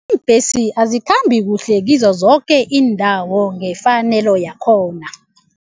Ibhesi azikhambi kuhle kizo zoke iindawo ngefanelo yakhona.